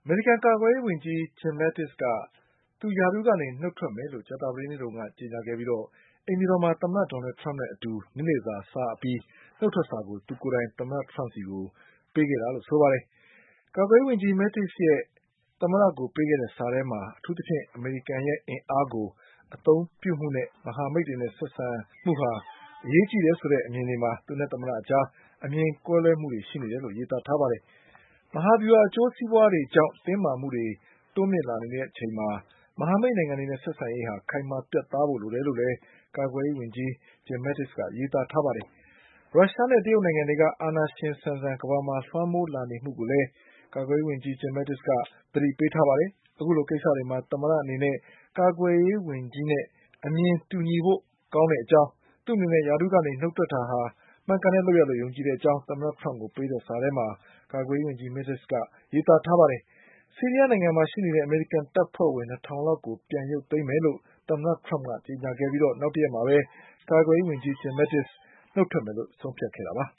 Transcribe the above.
မေရိကန်ကာကွယ်ရေးဝန်ကြီး Jim Mattis က သူရာထူးကနေနုတ်ထွက်မယ်လို့ ကြာသပတေးနေ့တုန်းက ကြေညာခဲ့ ပြီး အိမ်ဖြူတော်မှာ သမ္မတဒေါ်နလ်ထရမ့်နဲ့အတူ နေ့လည်စာစားအပြီး နုတ်ထွက်စာကို သူကိုယ်တိုင် သမ္မတထရမ့်ကို ပေးခဲ့တာလို့ဆိုပါတယ်။ ကာကွယ်ရေးဝန်ကြီး Mattis ရဲ့သမ္မတကိုပေးခဲ့တဲ့စာထဲမှာ အထူးသဖြင့်အမေရိကန်ရဲ့ အင်အားကို အသုံးပြုမှုနဲ့ မဟာမိတ်တွေနဲ့ဆက်ဆံမှုဟာအရေးကြီးတယ်ဆိုတဲ့ အမြင်တွေမှာ သူနဲ့သမ္မတအကြား အမြင်ကွဲလွဲမှုတွေရှိ နေတယ်လို့ ရေးသားထားပါတယ်။ မဟာဗျူဟာအကျိုးစီးပွါးတွေကြောင့်တင်းမှုတွေတိုးမြင့်လာနေချိန်မှာမဟာမိတ်နိုင်ငံတွေနဲ့ ဆက်ဆံရေး ဟာ ခိုင်မာပြတ်သားဖို့လိုတယ်လို့လည်း ကာကွယ်ရေးဝန်ကြီး Jim Mattis က ရေးသားပါတယ်။ ရုရှားနဲ့ တရုတ်နိုင်ငံ တွေက အာဏာရှင်ဆန်ဆန် ကမ္ဘာမှာလွှမ်းမိုးလာနေမှုကိုလည်း ကာကွယ်ရေး ဝန်ကြီး Jim Mattis က သတိ ပေးထားပါတယ်။ အခုလိုကိစ္စတွေမှာ သမ္မတအနေနဲ့ ကာကွယ်ရေး ဝန်ကြီးရဲ့အမြင်နဲ့တူညီဖို့ကောင်းတဲ့ အကြောင်း၊ သူ့အနေနဲ့ ရာထူးကနေ နုတ်ထွက်တာဟာ မှန်ကန်တဲ့လုပ်ရပ်လို့ယုံကြည်တဲ့အကြောင်း သမ္မတထရမ့်ကိုပေးခဲ့တဲ့စာထဲမှာ ကာကွယ်ရေးဝန်ကြီး Jim Mattisကရေးသားထားပါတယ်။ ဆီးရီးယားနိုင်ငံမှာရှိနေတဲ့အမေရိကန်တပ်ဖွဲ့ဝင်၂ ထောင်လောက်ကို ပြန်ရုပ်သိမ်းမယ်လို့ သမ္မတထရမ့်က ကြေညာခဲ့ပြီးနောက်တရက်မှာပဲ ကာကွယ်ရေးဝန်ကြီး Jim Mattis နုတ်ထွက်မယ်လို့ဆုံးဖြတ်ခဲ့တာပါ